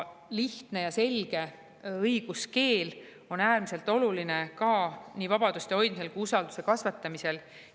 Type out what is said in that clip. Lihtne ja selge õiguskeel on äärmiselt oluline nii vabaduste hoidmisel kui ka usalduse kasvatamisel.